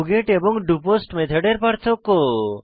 doGet এবং do post মেথডের পার্থক্য